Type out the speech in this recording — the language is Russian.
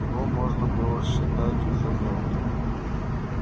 его можно было считать уже мёртвым